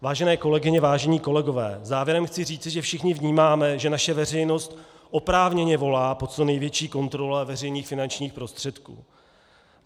Vážené kolegyně, vážení kolegové, závěrem chci říci, že všichni vnímáme, že naše veřejnost oprávněně volá po co největší kontrole veřejných finančních prostředků.